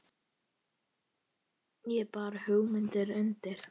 Ég bar hugmynd undir